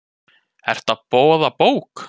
Ertu að boða bók?